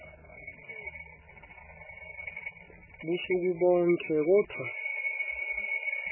busuku bonkhe kodvwa